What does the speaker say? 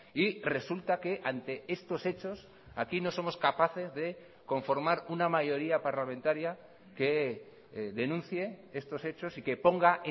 y resulta que ante estos hechos aquí no somos capaces de conformar una mayoría parlamentaria que denuncie estos hechos y que ponga